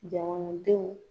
Jamanadenw